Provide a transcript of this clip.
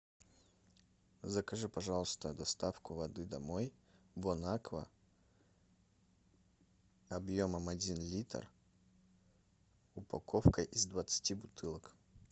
закажи пожалуйста доставку воды домой бонаква объемом один литр упаковка из двадцати бутылок